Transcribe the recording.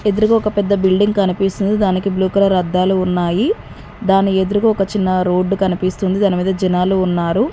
ఎదురుగా ఒక పెద్ద బిల్డింగ్ కనిపిస్తుంది దానికి బ్లూ కలర్ అద్దాలు ఉన్నాయి దాని ఎదురుగా ఒక చిన్న రోడ్డు కనిపిస్తుంది దానిమీద జనాలు ఉన్నారు.